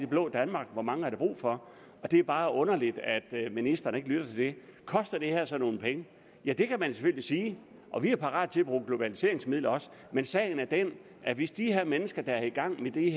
blå danmark hvor mange der er brug for og det er bare underligt at ministeren ikke lytter til det koster det her så nogle penge ja det kan man selvfølgelig sige og vi er parat til at bruge globaliseringsmidler også men sagen er den at hvis de her mennesker der er i gang med de